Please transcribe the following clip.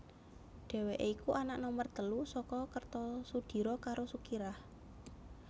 Dhèwèké iku anak nomer telu saka Kertosudiro karo Sukirah